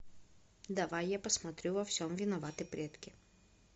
давай я посмотрю во всем виноваты предки